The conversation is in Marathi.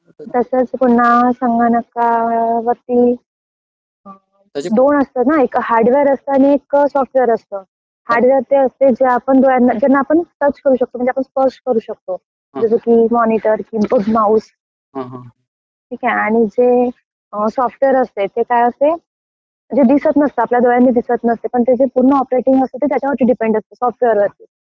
तसंच पुन्हा संगणकावरती दोन असतात ना एक हार्डवेअर असतं आणि एक सॉफ्टवेअर असतं. हार्डवेअर ते असते ज्याला आपण स्पर्श करू शकतो. जसं की मॉनिटर, कीबोर्ड, माऊस, ठीक आहे? आणि जे सॉफ्टवेअर असते ते काय असते जे दिसत नसतं आपल्या डोळ्यांनी दिसत नसतं पण त्याची जी पूर्ण ऑपरेटिंग असते ती त्याच्यावर डिपेंड असते, सॉफ्टवेअर वरती.